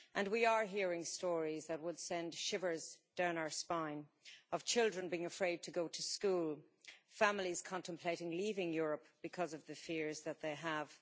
We are hearing stories that send shivers down our spine of children being afraid to go to school and families contemplating leaving Europe because of the fears that they have.